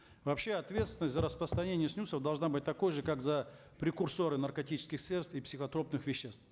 вообще ответственность за распространение снюсов должна быть такой же как за прекурсоры наркотических средств и психотропных веществ